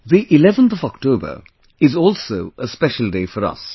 11th of October is also a special day for us